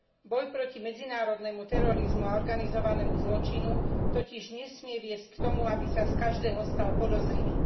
Boj proti medzinárodnému terorizmu a organizovanému zločinu totiž nesmie viesť k tomu, aby sa z každého stal podozrivý.